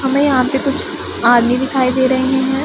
हमें यहां पे कुछ आदमी दिखाई दे रहे हैं।